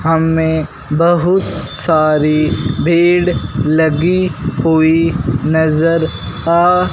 हमें बहुत सारी भीड़ लगी हुई नजर आ--